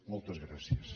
moltes gràcies